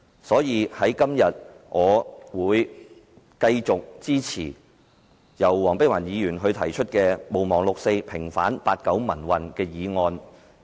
因此，我今天會繼續支持黃碧雲議員所提出"毋忘六四，平反八九民運"的議案。